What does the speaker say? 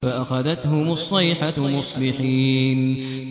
فَأَخَذَتْهُمُ الصَّيْحَةُ مُصْبِحِينَ